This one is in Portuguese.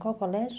Qual colégio?